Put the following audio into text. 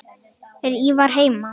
Er Ívar heima?